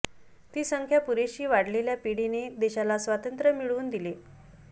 ती संख्या पुरेशी वाढलेल्या पिढीने देशाला स्वातंत्र्य मिळवून दिले